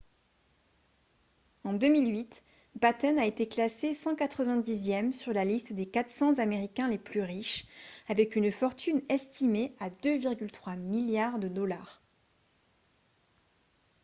en 2008 batten a été classé 190e sur la liste des 400 américains les plus riches avec une fortune estimée à 2,3 milliards de dollars